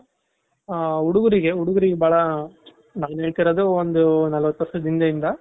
ಆ ಹುಡುಗ್ರುಗೆ, ಹುಡುಗ್ರುಗೆ ಬಾಳ ನಾನು ಹೇಳ್ತಿರೋದು ಒಂದು ನಲವತ್ತು ವರ್ಷದ ಹಿಂದೆ ಇಂದ